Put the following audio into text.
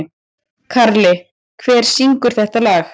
Karli, hver syngur þetta lag?